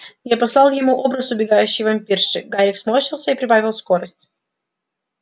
я послал ему образ убегающей вампирши гарик сморщился и прибавил скорость